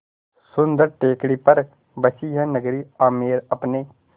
सुन्दर टेकड़ी पर बसी यह नगरी आमेर अपने